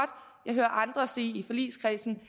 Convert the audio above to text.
jeg hører andre i forligskredsen